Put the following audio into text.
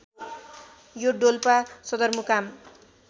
यो डोल्पा सदरमुकाम